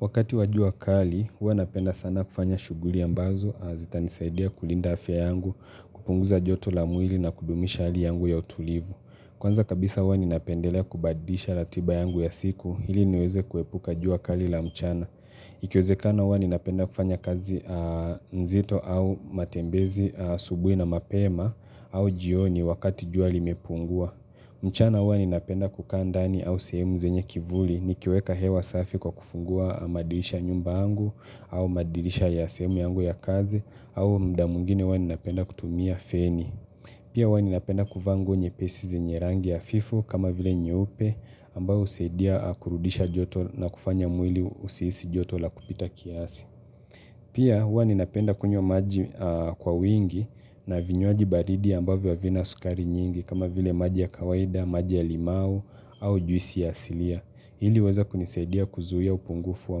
Wakati wajua kali, huwa napenda sana kufanya shughuli ambazo, zita nisaidia kulinda afya yangu, kupunguza joto la mwili na kudumisha hali yangu ya utulivu. Kwanza kabisa huwa ninapendelea kubadisha ratiba yangu ya siku, hili niweze kuepuka jua kali la mchana. Ikiwezekana huwa ninapenda kufanya kazi nzito au matembezi asubuhi na mapema au jioni wakati jua limepungua. Mchana huwa ni napenda kukandani au sehemu zenye kivuli nikiweka hewa safi kwa kufungua madirisha ya nyumba yangu au madirisha ya sehemu yangu ya kazi au muda mwingine huwa ninapenda kutumia feni. Pia huwa ni napenda kuvaa nguo nyepesi zenye rangi hafifu kama vile nyeupe ambayo husaidia kurudisha joto na kufanya mwili usihisi joto la kupita kiasi. Pia huwa ninapenda kunywa maji kwa wingi na vinywaji baridi ambavyo havina sukari nyingi kama vile maji ya kawaida, maji ya limau au juisi ya silia. Hili huweza kunisaidia kuzuia upungufu wa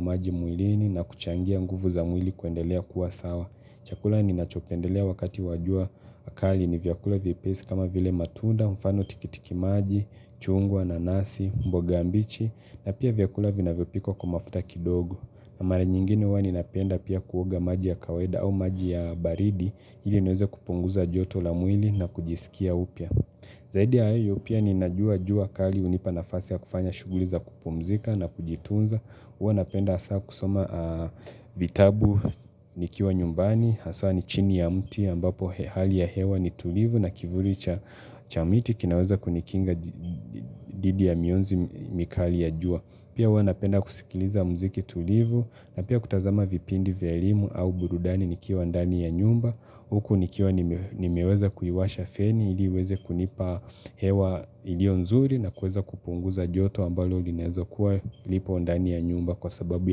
maji mwilini na kuchangia nguvu za mwili kuendelea kuwasawa. Chakula ninachopendelea wakati wajua kali ni vyakula vyepesi kama vile matunda, mfano tikitiki maji, chungwa, nanasi, mboga mbichi na pia vyakula vina vyopikwa kwa mafuta kidogo. Na mara nyingine huwa ninapenda pia kuoga maji ya kawaida au maji ya baridi hili niweze kupunguza joto la mwili na kujisikia upya. Zaidi ya hayo pia ninajua jua kali hunipa nafasi ya kufanya shughuli za kupumzika na kujitunza. Huwa napenda hasa kusoma vitabu nikiwa nyumbani, hasa ni chini ya mti ambapo hali ya hewa ni tulivu na kivuli cha miti kinaweza kunikinga dhidi ya mionzi mikali ya jua. Pia huwana penda kusikiliza mziki tulivu na pia kutazama vipindi vya elimu au burudani nikiwa ndani ya nyumba Huku nikiwa nimeweza kuiwasha feni iliiweze kunipa hewa ilionzuri na kueza kupunguza joto ambalo linaeza kuwa lipo ndani ya nyumba kwa sababu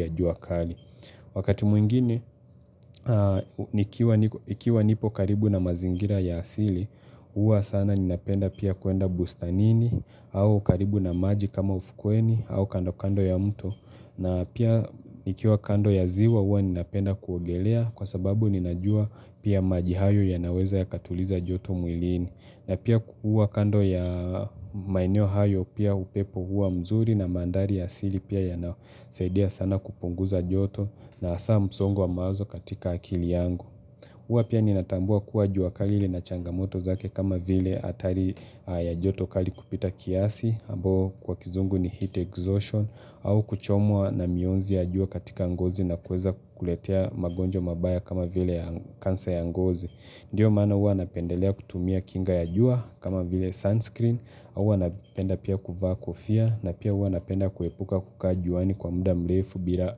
ya jua kali Wakati mwingine, nikiwa nipo karibu na mazingira ya asili, huwa sana ninapenda pia kuenda bustanini, au karibu na maji kama ufukueni, au kando kando ya mto, na pia nikiwa kando ya ziwa huwa ninapenda kuogelea kwa sababu ninajua pia maji hayo yanaweza yaka tuliza joto mwilini. Napia kukuwa kando ya maeneo hayo pia upepo huwa mzuri na manthari ya asili pia yanasaidia sana kupunguza joto na hasa msongo wa mawazo katika akili yangu. Huwa pia ninatambua kuwa jua kali lina changamoto zake kama vile hatari ya joto kali kupita kiasi, ambao kwa kizungu ni heat exhaustion, au kuchomwa na mionzi ya jua katika ngozi na kuweza kukuletea magonjwa mabaya kama vile kansa ya ngozi. Ndiyo maana huwa napendelea kutumia kinga ya jua kama vile sunscreen, huwa napenda pia kuva kofia na pia huwa napenda kuepuka kuka juani kwa muda mrefu bila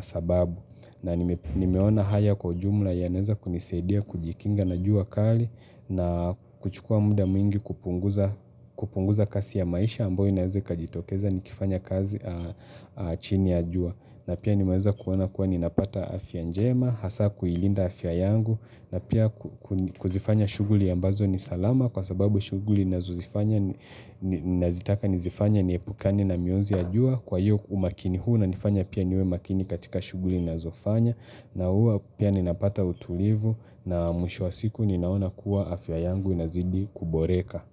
sababu. Na nimeona haya kwa ujumla yanaweza kunisaidia kujikinga na jua kali na kuchukua muda mwingi kupunguza kasi ya maisha ambao inawez ikajitokeza nikifanya kazi chini ya jua. Na pia nimeweza kuona kuwa ninapata afya njema, hasa kuilinda afya yangu na pia kuzifanya shughuli ambazo ni salama kwa sababu shughuli ninazo zifanya nazitaka nizifanye niepukani na mionzi ya jua Kwa hiyo umakini huu unanifanya pia niwe makini katika shughuli ninazofanya na hua pia ninapata utulivu na mwisho wa siku ninaona kuwa afya yangu inazidi kuboreka.